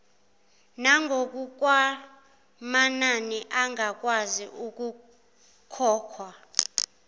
nangokwamanani angakwazi ukukhokhwa